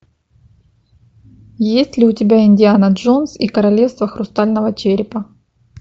есть ли у тебя индиана джонс и королевство хрустального черепа